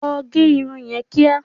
Lọ gẹ irun yẹn kíá!